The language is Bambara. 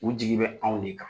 U jigi bɛ anw ne kan.